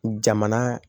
Jamana